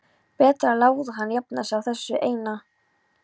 Betra að láta hana jafna sig á þessu eina.